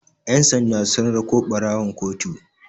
ƴan sanda sun rako ɓarawon kotu